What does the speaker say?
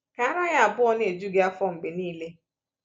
Ka ara ya abụọ na-eju gị afọ mgbe niile.”